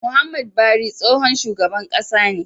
Muhammad bari tsohon shugaban ƙasa ne